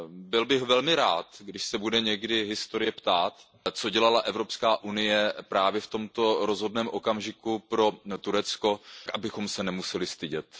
Byl bych velmi rád, když se bude někdy historie ptát, co dělala Evropská unie právě v tomto rozhodném okamžiku pro Turecko, abychom se nemuseli stydět.